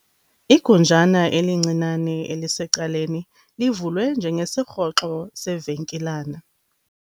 Igunjana elincinane elisecaleni livulwe njengesirhoxo sevenkilana.